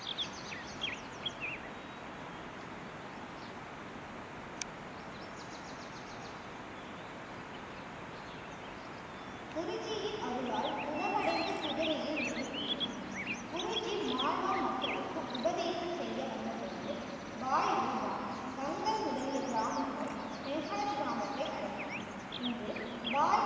குருஜியின் அருளால் குணமடைந்து குதிரையில் வீடு திரும்பினான். குருஜி மால்வா மக்களுக்கு உபதேசம் செய்ய வந்த போது பாய் ரூபா கங்கர் முதலிய கிராமங்கள் அடைந்தன.